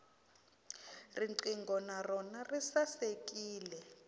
riqingho na rona ri sasekile